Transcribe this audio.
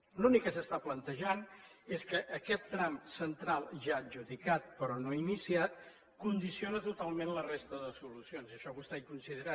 l’únic que s’està plantejant és que aquest tram central ja adjudicat però no iniciat condiciona totalment la resta de solucions en això vostè hi deu coincidir